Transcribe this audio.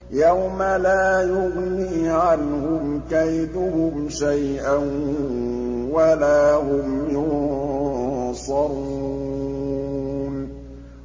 يَوْمَ لَا يُغْنِي عَنْهُمْ كَيْدُهُمْ شَيْئًا وَلَا هُمْ يُنصَرُونَ